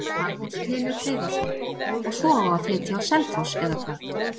Magnús Hlynur Hreiðarsson: Og svo á að flytja á Selfoss eða hvað?